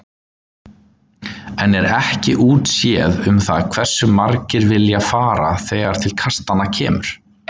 Enn er ekki útséð um það hversu margir vilja fara þegar til kastanna kemur.